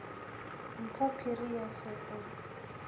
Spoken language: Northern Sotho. mpho phiri ya se o